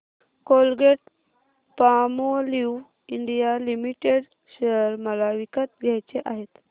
Colgate Palmolive India limited share मला विकत घ्यायचे आहेत